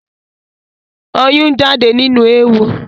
Ọyún ń jáde nínú éwo